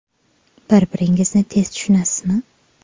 Bir-biringizni tez tushunasizmi?